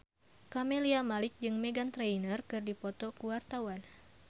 Camelia Malik jeung Meghan Trainor keur dipoto ku wartawan